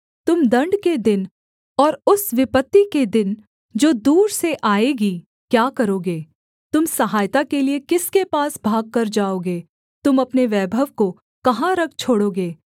तुम दण्ड के दिन और उस विपत्ति के दिन जो दूर से आएगी क्या करोगे तुम सहायता के लिये किसके पास भागकर जाओगे तुम अपने वैभव को कहाँ रख छोड़ोगे